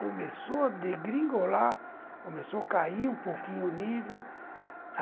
Começou a degringolar, começou a cair um pouquinho o nível.